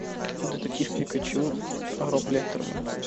детектив пикачу роб леттерман